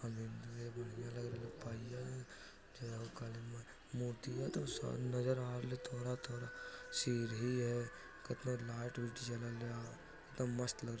यह मंदिर पहियल झ मूर्ति सामने नजर आ रही हे थोडा थोडा सीडी है ऊपर लाईट जलवता मस्त |